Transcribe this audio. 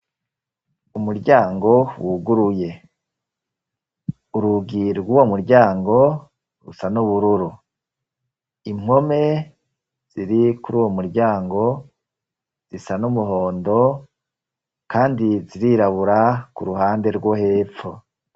Umuryango wuguruye. Urugi rw'uwo muryango rusa n'ubururu, impome ziri kuri uwo muryango zisa n'umuhondo, kandi zirirabura ku ruhande rwo hepfo.